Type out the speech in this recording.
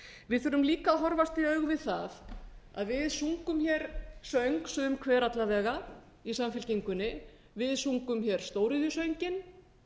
við þurfum líka að horfast í augu við það að við sungum söng sum hver alla vega í samfylkingunni við sungum stóriðjusönginn